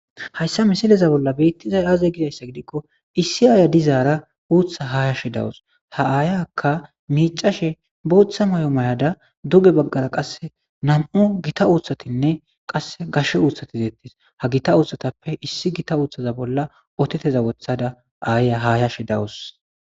Hayissa missileza bolla bettizayiss aze gizayissa gidikko issi ayiya dizara uththa hashshashe dawus ha ayiyakka micashshe boththa mayo mayida duge baggara qase nam'u gita uththatinne qase gashshe uththati detes ha gita uththtatappe issi gita uththtaza bolla woththada ayiya hayayashshe dawus Mayo